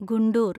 Guntur